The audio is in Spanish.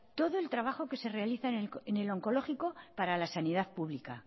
todo el trabajo que se realiza en el onkologikoa para la sanidad pública